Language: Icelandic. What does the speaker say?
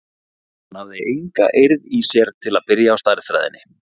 Hann hafði enga eirð í sér til að byrja á stærðfræðinni.